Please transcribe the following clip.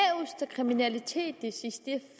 kriminaliteten